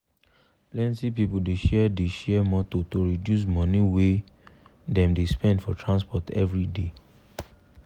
plenti people dey share dey share motor to reduce money wey dem dey spend for transport everyday.